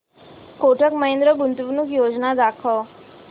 कोटक महिंद्रा गुंतवणूक योजना दाखव